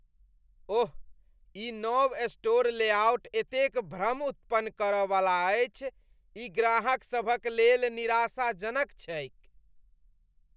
ओह, ई नव store layout एतेक भ्रम उत्पन्न कर वला अछि। ई ग्राहकसभक लेल निराशाजनक छैक ।